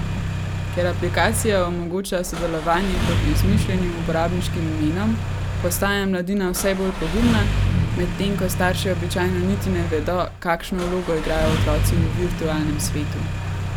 Ker aplikacija omogoča sodelovanje pod izmišljenim uporabniškim imenom, postaja mladina vse bolj pogumna, medtem ko starši običajno niti ne vedo, kakšno vlogo igrajo otroci v virtualnem svetu.